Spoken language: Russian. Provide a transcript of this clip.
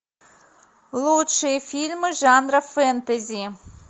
лучшие фильмы жанра фэнтези